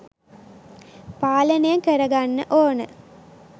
පාලනය කරගන්න ඕන.